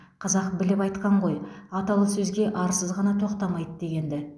қазақ біліп айтқан ғой аталы сөзге арсыз ғана тоқтамайды дегенді